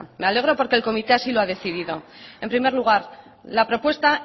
me alegro porque el comité así lo ha decidido en primer lugar la propuesta